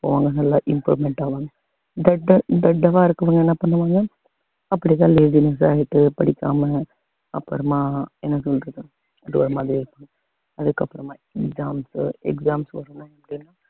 போவாங்க நல்ல improvement ஆவாங்க தெண்ட~ தெண்டமா இருக்கிறவங்க என்ன பண்ணுவாங்க அப்படிதான் lazyness ஆயிட்டு படிக்காம அப்புறமா என்ன சொல்றது அது ஒரு மாதிரி அதுக்கப்புறம exams